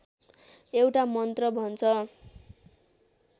एउटा मन्त्र भन्छ